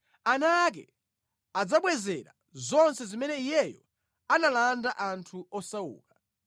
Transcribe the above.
Ana ake adzabwezera zonse zimene iyeyo analanda anthu osauka;